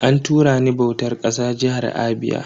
An tura ni bautar ƙasa jihar Abia.